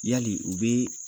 Yali, u bɛ